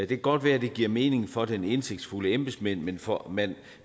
kan godt være at det giver mening for den indsigtsfulde embedsmand men for